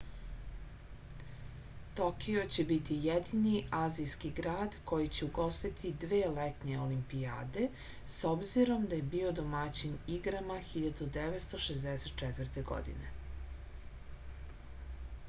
tokio će biti jedini azijski grad koji će ugostiti dve letnje olimpijade s obzirom da je bio domaćin igrama 1964. godine